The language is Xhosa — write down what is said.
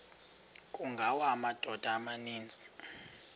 kungawa amadoda amaninzi